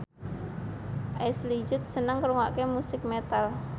Ashley Judd seneng ngrungokne musik metal